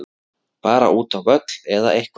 Bara útá völl, eða eitthvað.